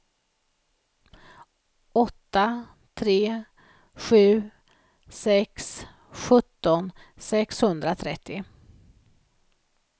åtta tre sju sex sjutton sexhundratrettio